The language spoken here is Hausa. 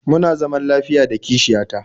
Muna zaman lafiya da kishiya ta